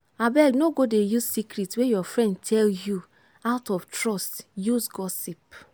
abeg no go dey use secret wey your friend tell you out of trust use gossip.